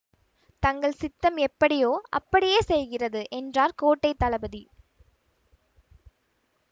தங்கள் சித்தம் எப்படியோ அப்படியே செய்கிறது என்றார் கோட்டை தளபதி